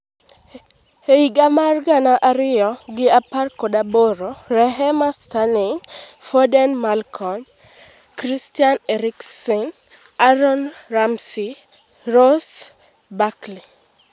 Higa mar gana ariyo gi apar gi aboro: Raheem Sterling, Foden, Malcom, Christian Eriksen, Aaron Ramsey, Ross Barkley